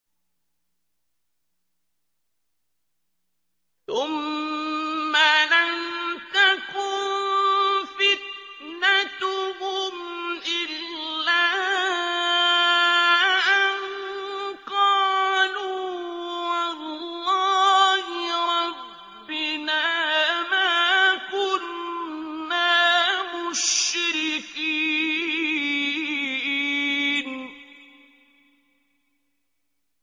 ثُمَّ لَمْ تَكُن فِتْنَتُهُمْ إِلَّا أَن قَالُوا وَاللَّهِ رَبِّنَا مَا كُنَّا مُشْرِكِينَ